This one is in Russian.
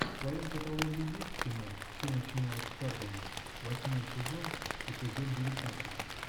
в твоем каталоге есть кино все начиналось в харбине восьмой сезон эпизод девятнадцать